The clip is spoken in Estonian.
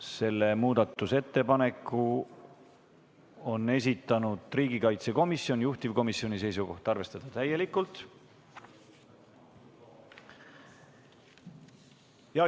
Selle muudatusettepaneku on esitanud riigikaitsekomisjon, juhtivkomisjoni seisukoht on arvestada seda täielikult.